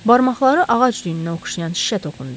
Barmaqları ağac düyünə oxşayan şişə toxundu.